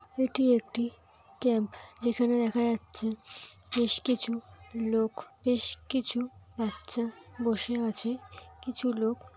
এটি একটি ক্যাম্প যেখানে দেখা যাচ্ছে বেশ কিছু লোক বেশ কিছু বাচ্চা বসে আছে কিছু লোক--